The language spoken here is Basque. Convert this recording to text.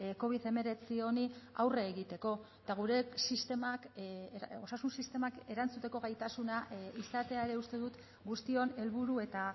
covid hemeretzi honi aurre egiteko eta gure sistemak osasun sistemak erantzuteko gaitasuna izatea ere uste dut guztion helburu eta